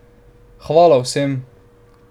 Hvala vsem!